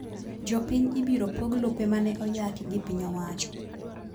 Jopiny ibiro pog lope maneoyaki gi piny owacho